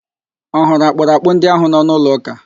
Ọ hụrụ akpụrakpụ ndị ahụ nọ n'ụlọ ụ́kà?